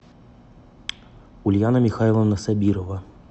ульяна михайловна собирова